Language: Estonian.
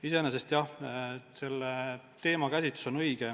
Iseenesest jah, selle teema käsitlus on õige.